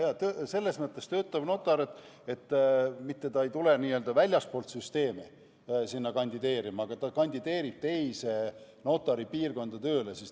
Jaa-jaa, selles mõttes töötav notar, et ta ei tule mitte n-ö väljastpoolt süsteemi kandideerima, vaid ta kandideerib teise notaripiirkonda tööle.